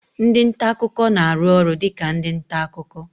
Ndị nta akụkọ na-arụ ọrụ dị ka ndị nta akụkọ